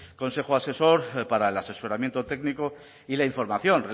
consejo asesor para el asesoramiento técnico y la información